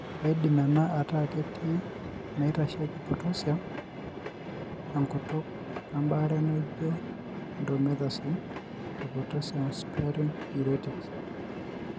Keidim enaa ataa ketii inaitasheiki potassium (K) enkutuk, embaare naijio indomethacin, opotassium sparing diuretics.